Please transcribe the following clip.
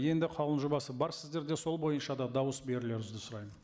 енді қаулының жобасы бар сіздерде сол бойынша да дауыс берулеріңізді сұраймын